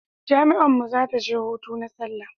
jami'an mu za ta je hutu na sallah